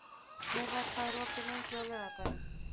Myrra, hvað er opið lengi á laugardaginn?